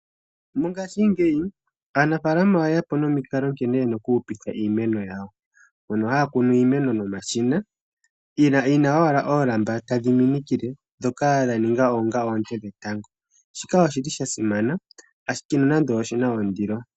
Mongashingeyi aanafaalama oyeya po nomikalo nkene yena okuhupitha iimeno yawo. Mpono haya kunu nomashina yi na owala omalamba taga minikile ndhoka dhaninga onga oonte dhetango. Shika oshili shasimana nonando oshina ondilo.